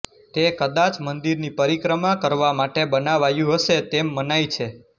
તે કદાચ મંદિરની પરિક્રમા કરવા માટે બનાવાયું હશે તેમ મનાય છે